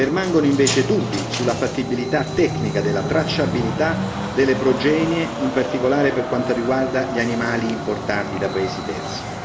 Permangono invece dubbi sulla fattibilità tecnica della tracciabilità delle progenie, in particolare per quanto riguarda gli animali importati da paesi terzi.